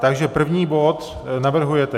Takže první bod navrhujete.